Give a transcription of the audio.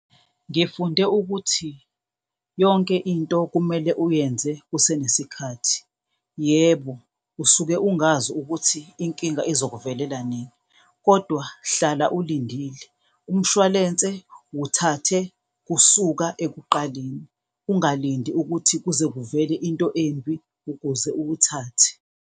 Ngifunde ukuthi yonke into kumele uyenze kusenesikhathi. Yebo, usuke ungazi ukuthi inkinga izokuvelela nini, kodwa hlala ulindile. Umshwalense wuthathe kusuka ekuqaleni ungalindi ukuthi kuze kuvele into embi ukuze uwuthathe.